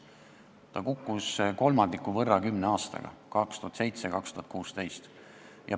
See kukkus kolmandiku võrra kümne aastaga: 2007–2016.